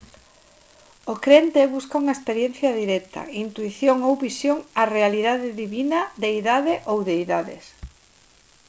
o crente busca unha experiencia directa intuición ou visión á realidade divina/deidade ou deidades